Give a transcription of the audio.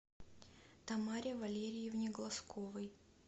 тамаре валерьевне глазковой